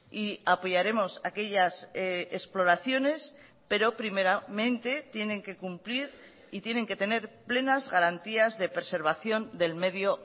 y apoyaremos aquellas exploraciones pero primeramente tienen que cumplir y tienen que tener plenas garantías de preservación del medio